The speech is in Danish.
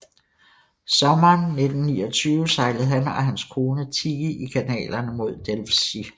Sommeren 1929 sejlede han og hans kone Tigy i kanalerne mod Delfzijl